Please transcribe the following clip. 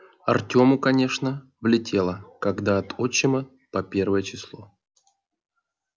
артёму конечно влетело когда от отчима по первое число